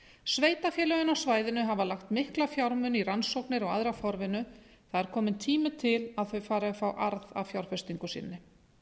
sveitarfélögin á svæðinu hafa lagt mikla fjármuni í rannsóknir og aðra forvinnu það er komin tími til að þau fari að fá arð af fjárfestingu sinni